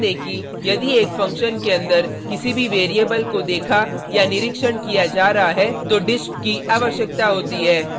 कृपया ध्यान दें कि यदि एक फंक्शन के अंदर किसी भी वैरिएबल को देखा या निरीक्षण किया जा रहा है तो disp की आवश्यकता होती है